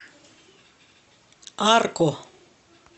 арко